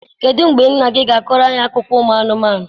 kedụ mgbe nna gị ga akọro anyị akụkọ ụmụ anụmanụ